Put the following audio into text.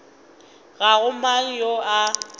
ga go mang yo a